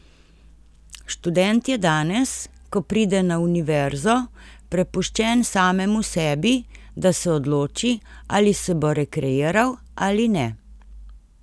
Študent je danes, ko pride na univerzo, prepuščen samemu sebi, da se odloči, ali se bo rekreiral ali ne.